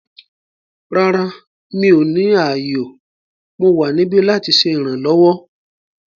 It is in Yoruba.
Rárá, mi ò ní ààyò; Mo wa nibi lati ṣe iranlọwọ